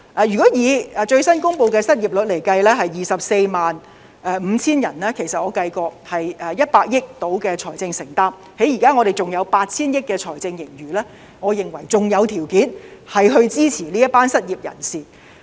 如果以最新公布的失業率下的 245,000 人來計算——我已作計算——大概是100億元的財政承擔，在我們現時還有 8,000 億元的財政盈餘，我認為仍有條件支持這一群失業人士。